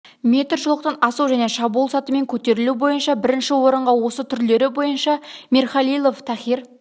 метр жолақтан асудан және шабуыл сатымен көтерілу бойынша бірінші орынға осы түрлері бойынша мирхалилов тахир